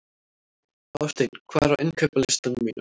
Hásteinn, hvað er á innkaupalistanum mínum?